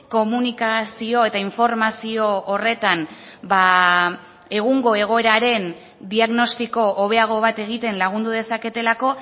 komunikazio eta informazio horretan egungo egoeraren diagnostiko hobeago bat egiten lagundu dezaketelako